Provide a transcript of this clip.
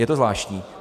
Je to zvláštní.